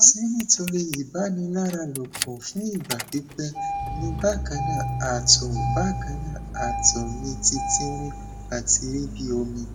ṣe nitori ibaniaralopo fun igba pipẹ ni bakanna ato bakanna ato mi ti tinrin ati ri bi omi